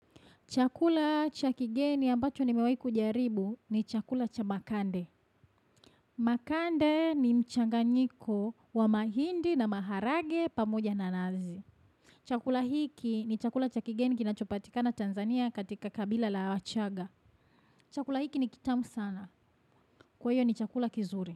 Chakula chakigeni ambacho nimewai kujaribu ni chakula cha makande. Makande ni mchanganyiko wa mahindi na maharage pamoja nanazi. Chakula hiki ni chakula chakigeni kinachopatika na Tanzania katika kabila la wachaga. Chakula hiki ni kitamu sana. Kwayo ni chakula kizuri.